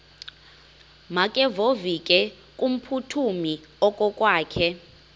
makevovike kumphuthumi okokwakhe